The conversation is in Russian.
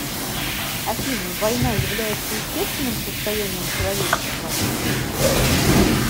афина война является естественным состоянием человечества